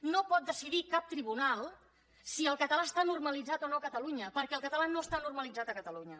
no pot decidir cap tribunal si el català està normalitzat o no a catalunya perquè el català no està normalitzat a catalunya